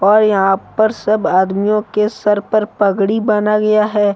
और यहां पर सब आदमियों के सर पर पगड़ी बान्हा गया है।